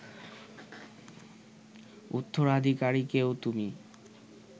উত্তরাধীকারীকেও তুমি